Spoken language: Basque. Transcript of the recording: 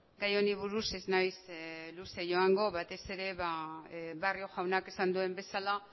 gai honi buruz ez naiz luze joango batez ere barrio jaunak esan duen bezala